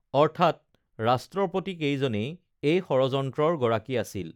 অৰ্থাৎ ৰাষ্ট্ৰপতিকেইজনেই এই ষড়যন্ত্ৰৰ গৰাকী আছিল